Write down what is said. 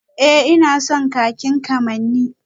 Ee ina son kakin kamanni